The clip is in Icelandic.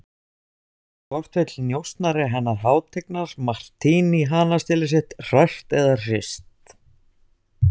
Hvort vill njósnari hennar hátignar Martini hanastélið sitt hrært eða hrist?